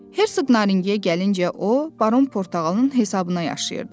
Hersoq Naringiyə gəlinci o Baron Portağalın hesabına yaşayırdı.